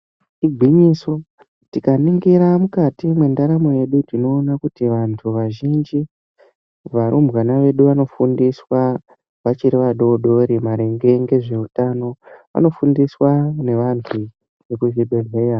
Igwinyiso tikaningira mukati mwendaramo yedu tinoona kuti vantu vazhinji varumbwana vedu vanofundiswa vachiri vadodori maringe ngezveutano. Vanofundiswa nevantu vekuzvibhehleya.